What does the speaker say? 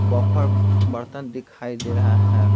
Buffer बर्तन दिखाई दे रहा है।